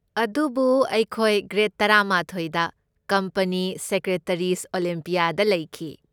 ꯑꯗꯨꯕꯨ ꯑꯩꯈꯣꯏ ꯒ꯭ꯔꯦꯗ ꯇꯔꯥꯃꯥꯊꯣꯢꯗ ꯀꯝꯄꯅꯤ ꯁꯦꯀ꯭ꯔꯦꯇꯔꯤꯖ' ꯑꯣꯂꯤꯝꯄꯤꯌꯥꯗ ꯂꯩꯈꯤ꯫